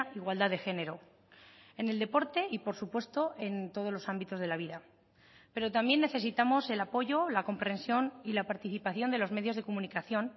igualdad de género en el deporte y por supuesto en todos los ámbitos de la vida pero también necesitamos el apoyo la comprensión y la participación de los medios de comunicación